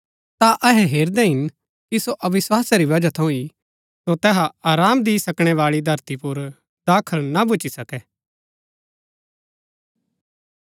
ता अहै हैरदै हिन कि सो अविस्वासा री बजहा थऊँ ही सो तैहा आराम दि सकणै बाळी धरती पुर दाखल ना भूच्ची सकै